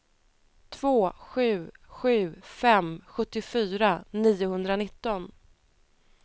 två sju sju fem sjuttiofyra niohundranitton